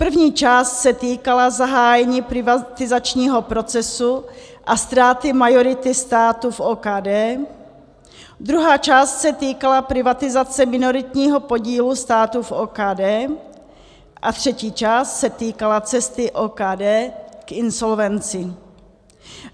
První část se týkala zahájení privatizačního procesu a ztráty majority státu v OKD, druhá část se týkala privatizace minoritního podílu státu v OKD a třetí část se týkala cesty OKD k insolvencím.